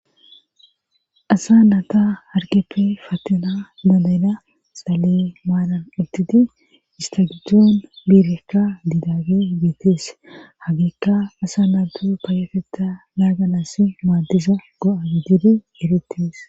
asa naata harkeppe fattana dadena xale maalan ittiti istagijdzoon biirekka didaage beetees hagiikka asa naatu paayatetta naaganas maaddisa go7a gidiri eretes